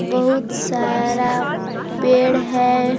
बहुत सारा पेड़ है।